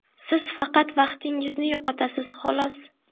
Siz faqat vaqtingizni yo‘qotasiz, xolos.